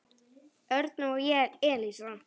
Örn og Elísa.